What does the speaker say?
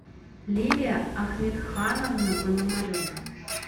лилия ахметхановна пономарева